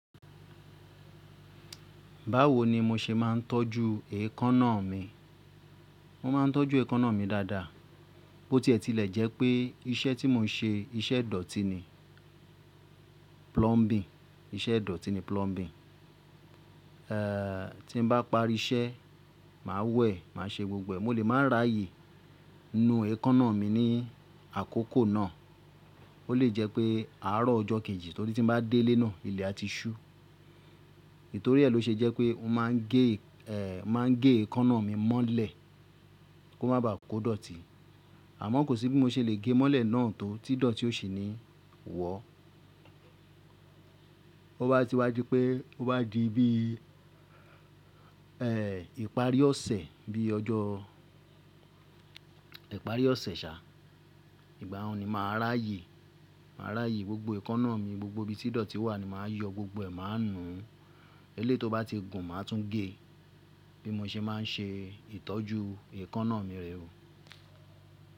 Báwo ni mo ṣe máa ń tọ́jú èékánná mi? Mo máa ń tọ́jú èékánná mi dáadáa. Bó ti ẹ̀ ti lẹ̀ jẹ́ pé iṣẹ́ tí mo ń ṣe, iṣẹ́ dọ̀tí ni, plumbing, iṣẹ́ dọ̀tí ni plumbing. Eh, tí bá parí iṣẹ́, màá wẹ̀, màá ṣe gbogbo ẹ̀, mo lè máa ráyè nu èékánná mi ní àkókò náà. Ó lè jẹ́ pé àárọ̀ ọjọ́ kejì torí tí ń bá dé ilé náà ilẹ̀ á ti ṣú. Nítorí è ló ṣe jẹ́ pé mo máa ń gé, eh, máa ń gé èékánná mi mọ́lẹ̀ kó má bàá kó dọ̀tí. Àmọ́ kò sí bí mo ṣe lè gé mọ́lẹ̀ náà tó tí idọ̀tí ó ṣi ní wọ́. To bá ti wádìí pé tó bá di bí, eh, ìparí ọ̀sẹ̀, bí i ọjọ́ ìparí ọ̀sẹ̀ ṣá, ìgbà un ni màá n ràá ye. Màá ràa ye gbogbo èékánná mi, gbogbo ibi tí dọ̀tí wà ni màá yọ gbogbo ẹ̀, màá nu. Eleyi tó bá ti gùn, màá tún gé. Bí mo ṣe máa ń ṣe ìtọ́jú èékánná mi rẹ o.